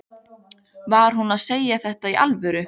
Var hún að segja þetta í alvöru?